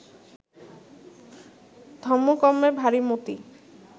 ধম্মকম্মে ভারি মতি